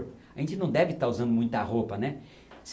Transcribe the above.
A gente não deve estar usando muita roupa, né?